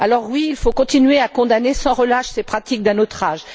Alors, oui, il faut continuer à condamner sans relâche ces pratiques d'un autre âge.